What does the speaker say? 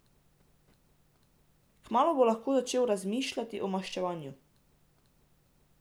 Kmalu bo lahko začel razmišljati o maščevanju.